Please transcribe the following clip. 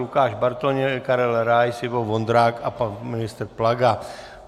Lukáš Bartoň, Karel Rais, Ivo Vondrák a pan ministr Plaga.